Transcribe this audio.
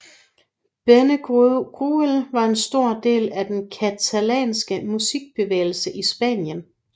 Benguerel var en stor del af den katalanske musikbevægelse i Spanien